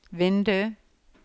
vindu